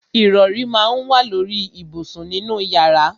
Ìrọrí má ń wà lóri ìbùsùn nínú yàrá.